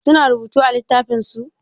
Su na rubutu a littafin su?